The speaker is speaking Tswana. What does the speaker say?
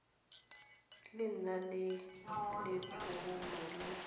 le nang le letshoroma le